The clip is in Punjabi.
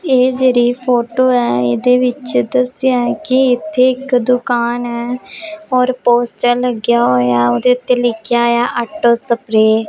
ਇਹ ਜਿਹੜੀ ਫੋਟੋ ਐ ਇਹਦੇ ਵਿੱਚ ਦੱਸਿਆ ਐ ਕਿ ਇੱਥੇ ਇੱਕ ਦੁਕਾਨ ਹੈ ਔਰ ਪੋਸਟਰ ਲੱਗਿਆ ਹੋਇਆ ਉਹਦੇ ਉੱਤੇ ਲਿਖਿਆ ਹੋਇਆ ਆਟੋ ਸਪ੍ਰੇ ।